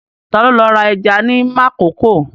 Ta ló lọ ra ẹja ní Makòko?